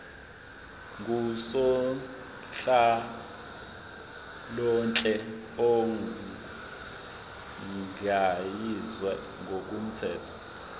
ngusonhlalonhle ogunyaziwe ngokomthetho